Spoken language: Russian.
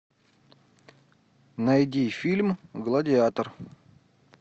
найди фильм гладиатор